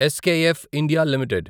SKF India limited